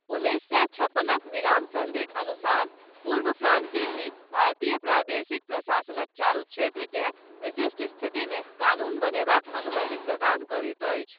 उन्नैस सए छप्पनक विराम सन्धिक अनुसार, पूर्व फ्रांसीसी, भारतीय प्रादेशिक प्रशासनक चारू क्षेत्रकेँ, विशिष्ट स्थितिमे, कानून बनयबाक अनुमति प्रदान करैत अछि।